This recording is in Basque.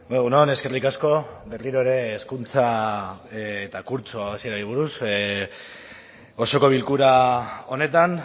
egun on eskerrik asko berriro ere hezkuntza eta kurtso hasierari buruz osoko bilkura honetan